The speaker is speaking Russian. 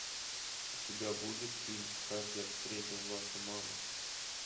у тебя будет фильм как я встретил вашу маму